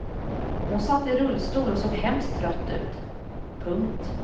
Hon satt i rullstol och såg hemskt trött ut. punkt